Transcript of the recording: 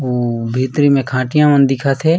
उ भीतरी म खटिया मन दिखत हे।